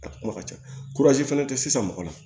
A kuma ka ca fɛnɛ tɛ sisan mɔgɔ la